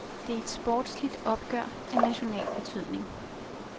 Det er et sportsligt opgør af national betydning.